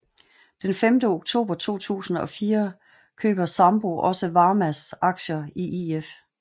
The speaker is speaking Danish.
Den 5 oktober 2004 køber Sampo også Varmas aktier i If